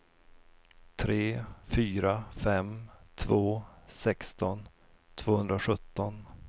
tre fyra fem två sexton tvåhundrasjutton